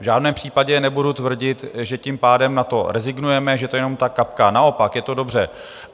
V žádném případě nebudu tvrdit, že tím pádem na to rezignujeme, že to je jenom ta kapka, naopak, je to dobře.